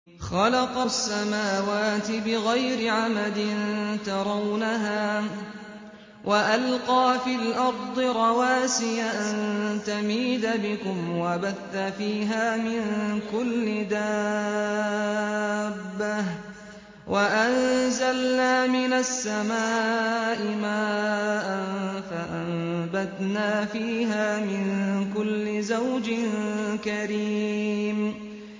خَلَقَ السَّمَاوَاتِ بِغَيْرِ عَمَدٍ تَرَوْنَهَا ۖ وَأَلْقَىٰ فِي الْأَرْضِ رَوَاسِيَ أَن تَمِيدَ بِكُمْ وَبَثَّ فِيهَا مِن كُلِّ دَابَّةٍ ۚ وَأَنزَلْنَا مِنَ السَّمَاءِ مَاءً فَأَنبَتْنَا فِيهَا مِن كُلِّ زَوْجٍ كَرِيمٍ